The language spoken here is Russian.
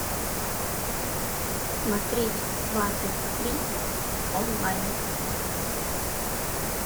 смотреть сваты три онлайн